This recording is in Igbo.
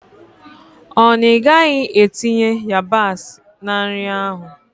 Ọ na ị gaghị etinye yabasị na nri ahụ?